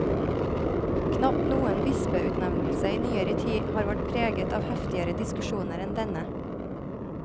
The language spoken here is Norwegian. Knapt noen bispeutnevnelse i nyere tid har vært preget av heftigere diskusjoner enn denne.